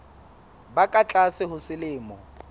ba ka tlase ho selemo